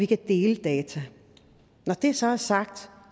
kan dele data når det så er sagt